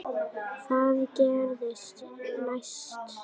Hvað gerist næst?